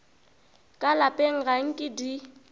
ka lapeng ga nke di